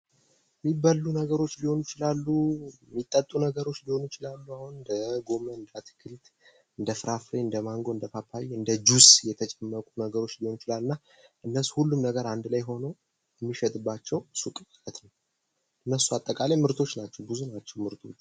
የሚበሉ ነገሮች ሊሆኑ ይችላሉ የሚጠጡ ነገሮች ሊሆኑ ይችላሉ እንደጎመን እንደ አትክልት እንደፍራፍሬ እንደማንጎ እንደ ፓፓያ እንደ ጁስ የተጨመቁ ነገሮች ሊሆኑ ይችላሉና እነሱም ሁሉም አንድ ላይ ሁነው የሚሸጥባቸው ሱቅ ማለት ነው። እነሱ አጠቃላይ ምርቶች ናቸው ብዙ ናቸው ምርቶቹ።